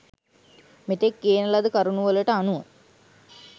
මෙතෙක් කියන ලද කරුණුවලට අනුව